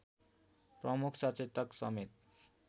प्रमुख सचेतक समेत